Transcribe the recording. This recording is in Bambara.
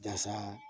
Jasa